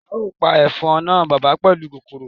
Ao pa efon na baba pelu oogun kokoro